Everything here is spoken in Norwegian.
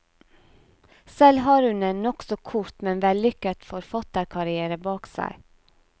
Selv har hun en nokså kort, men vellykket forfatterkarriere bak seg.